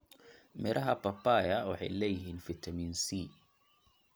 Midhaha papaya waxay leeyihiin fiitamiin C.